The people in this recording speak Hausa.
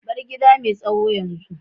bar gida mai tsawon yanzu.